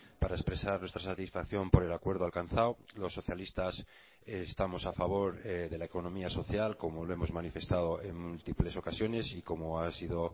para expresar nuestra satisfacción por el acuerdo alcanzado los socialistas estamos a favor de la economía social como lo hemos manifestado en múltiples ocasiones y como ha sido